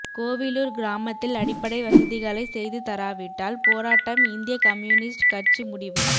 கோவிலூர் கிராமத்தில் அடிப்படை வசதிகளை செய்து தராவிட்டால் போராட்டம் இந்திய கம்யூனிஸ்ட் கட்சி முடிவு